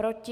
Proti?